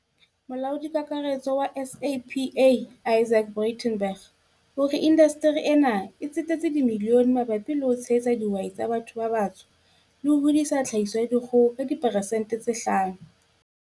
Molaodi Kakaretso wa SAPA Izaak Breitenbach o re inda steri ena e tsetetse dimilione mabapi le ho tshehetsa di hwai tsa batho ba batsho le ho hodisa tlhahiso ya dikgo ho ka diperesente tse 5.